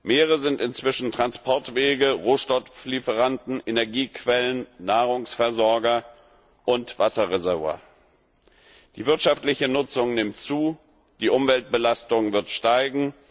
Meere sind inzwischen Transportwege, Rohstofflieferanten, Energiequellen, Nahrungsversorger und Wasserreservoir. Die wirtschaftliche Nutzung nimmt zu, die Umweltbelastung wird steigen.